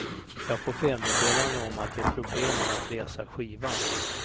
Jag får felmeddelande om att det är problem med att läsa skivan.